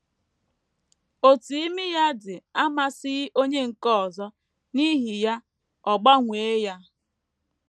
Otú imi ya dị amasịghị onye nke ọzọ, n’ihi ya ọ gbanwee ya.